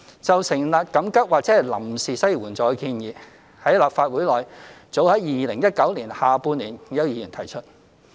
就成立緊急或臨時失業援助金的建議，在立法會內早於2019年下半年已有議員提出。